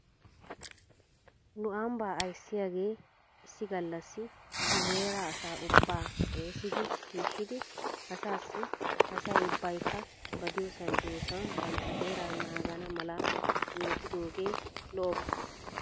Nu ambbaa ayssiyaagee issi gallassi nu heeraa asaa ubbaa xaasidi shiishshidi asaassi asay ubbaykka ba diyoosan diyoosan bantta heeraa naagana mala yiitidoogee lo'oba.